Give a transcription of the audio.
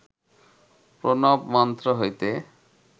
প্রণব মন্ত্র হইতে